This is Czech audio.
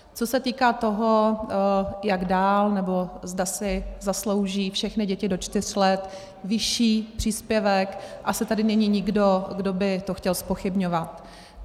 Co se týká toho, jak dál, nebo zda si zaslouží všechny děti do čtyř let vyšší příspěvek, asi tady není nikdo, kdo by to chtěl zpochybňovat.